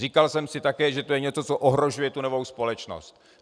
Říkal jsem si také, že to je něco, co ohrožuje tu novou společnost.